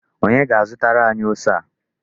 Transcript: Onye ga-azụtara anyi ose a?